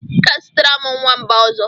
I ga-azụtara m nwamba ọzọ.